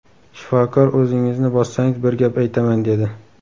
Shifokor o‘zingizni bossangiz bir gap aytaman dedi.